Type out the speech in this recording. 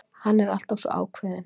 Hann er alltaf svo ákveðinn.